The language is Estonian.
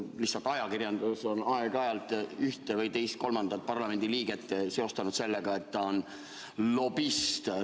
Lihtsalt ajakirjandus on aeg-ajalt ühte, teist või kolmandat parlamendi liiget seostanud sellega, et ta on lobist.